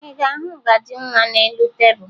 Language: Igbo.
Ị ga-ahụ ngaji nwa n'elu tebulu